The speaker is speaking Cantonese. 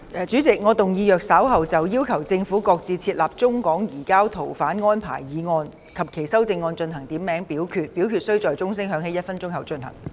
主席，我動議若稍後就"要求政府擱置設立中港移交逃犯安排"所提出的議案或其修正案進行點名表決，表決須在鐘聲響起1分鐘後進行。